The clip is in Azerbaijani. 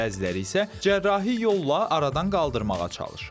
Bəziləri isə cərrahi yolla aradan qaldırmağa çalışır.